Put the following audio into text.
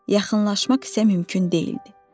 Yaxınlaşmaq isə mümkün deyildi.